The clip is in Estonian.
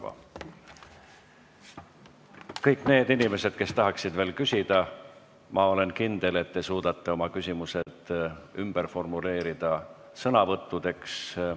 Ma olen kindel, et kõik need inimesed, kes tahaksid veel küsida, suudavad oma küsimused ümber formuleerida sõnavõttudeks.